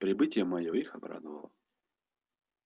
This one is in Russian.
прибытие моё их обрадовало